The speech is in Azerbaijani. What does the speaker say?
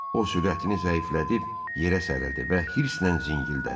O sürətini zəiflədib yerə sərildi və hırsdən zingildədi.